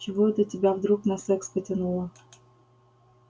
чего это тебя вдруг на секс потянуло